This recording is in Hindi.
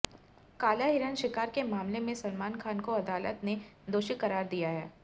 काला हिरण शिकार के मामले में सलमान खान को अदालत ने दोषी करार दिया है